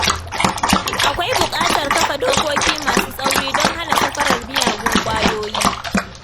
Akwai bukatar kafa dokoki masu tsauri don hana safarar miyagun ƙwayoyi.